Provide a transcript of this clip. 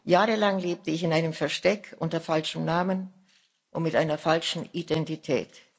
Jahrelang lebte ich in einem Versteck unter falschem Namen und mit einer falschen Identität.